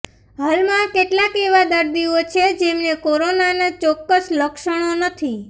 હાલમાં કેટલાક એવા દર્દીઓ છે જેમને કોરોનાના ચોક્કસ લક્ષણો નથી